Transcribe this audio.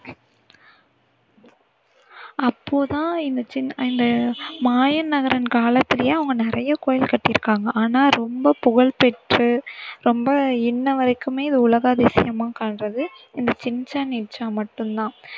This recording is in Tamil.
அப்போ தான் இந்த சின்~ இந்த மாயன் நகரன் காலத்துலேயே அவங்க நிறைய கோவில் கட்டி இருக்காங்க ஆனா ரொம்ப புகழ் பெற்று ரொம்ப இன்னை வரைக்குமே இது உலக அதிசயமா காண்றது இந்த சிச்சென் இட்சா மட்டும் தான்.